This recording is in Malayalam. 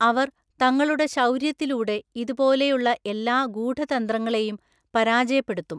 അവർ തങ്ങളുടെ ശൗര്യത്തിലൂടെ ഇതുപോലെയുള്ള എല്ലാ ഗൂഢതന്ത്രങ്ങളെയും പരാജയപ്പെടുത്തും.